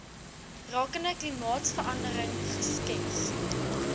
rakende klimaatsverandering geskets